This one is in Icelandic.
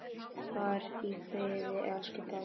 Far í friði, elsku pabbi!